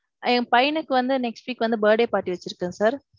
என் பையனுக்கு வந்து next week வந்து birthday party வச்சுருக்கேன் sir.